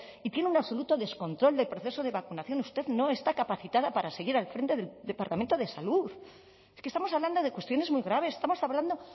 y tiene un absoluto descontrol del proceso de vacunación usted no está capacitada para seguir al frente del departamento de salud es que estamos hablando de cuestiones muy graves estamos hablando